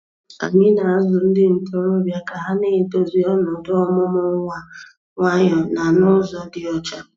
Anyị na-azụ ndị ntorobịa ka ha na-edozi ọnọdụ ọmụmụ nwa nwayọ na n'ụzọ dị ọcha.